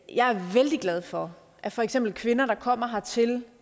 jeg er vældig glad for at for eksempel kvinder der kommer hertil